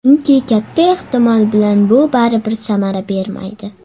Chunki katta ehtimol bilan bu baribir samara bermaydi.